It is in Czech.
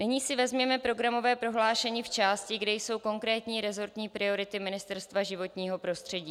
Nyní si vezměme programové prohlášení v části, kde jsou konkrétní resortní priority Ministerstva životního prostředí.